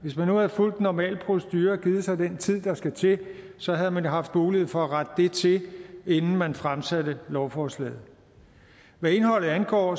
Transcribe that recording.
hvis man nu havde fulgt den normale procedure og givet sig den tid der skal til så havde man haft mulighed for at rette det til inden man fremsatte lovforslaget hvad indholdet angår